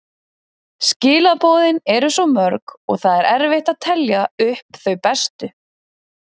Skilaboðin eru svo mörg og það er erfitt að telja upp þau bestu.